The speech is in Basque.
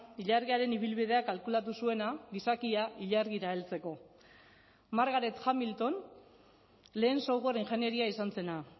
ilargiaren ibilbidea kalkulatu zuena gizakia ilargira heltzeko margaret hamilton lehen software ingenieria izan zena